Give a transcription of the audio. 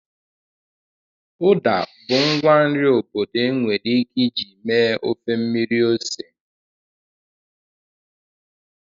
Uda bụ ngwa nri obodo enwere ike iji mee ofe mmiri ose.